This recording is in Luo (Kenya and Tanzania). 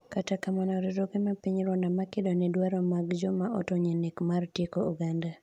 kata kamano, riwruoge ma piny Rwanda makedo ne dwaro mag joma otony e nek mar tieko oganda